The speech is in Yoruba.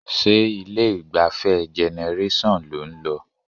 Ṣé ilé-ìgbafẹ́ Generation lò ń lọ?